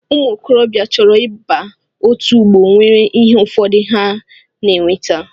Ụmụ okorobịa chọrọ ịba otú ọgbọ nwere ihe ụfọdụ ha na-eweta